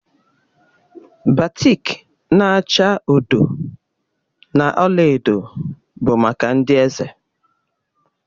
Batik na-acha odo na ọla edo bụ maka ndị eze.